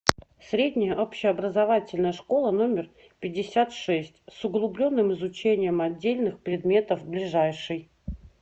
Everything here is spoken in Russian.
средняя общеобразовательная школа номер пятьдесят шесть с углубленным изучением отдельных предметов ближайший